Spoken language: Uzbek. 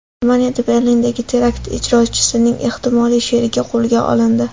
Germaniyada Berlindagi terakt ijrochisining ehtimoliy sherigi qo‘lga olindi.